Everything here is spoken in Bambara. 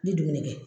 N bɛ dumuni kɛ